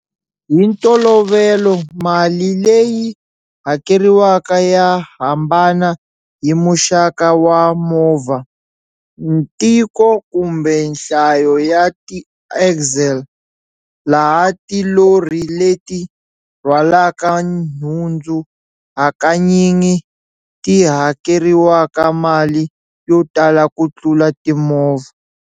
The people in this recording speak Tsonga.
Hi ntolovelo mali leyi hakeriwaka ya hambana hi muxaka wa movha, ntiko kumbe nhlayo ya ti-axle, laha tilori leti rhwalaka nhundzu hakanyingi ti hakeriwaka mali yo tala ku tlula timovha.